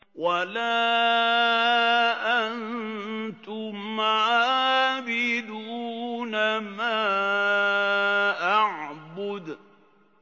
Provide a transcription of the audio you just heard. وَلَا أَنتُمْ عَابِدُونَ مَا أَعْبُدُ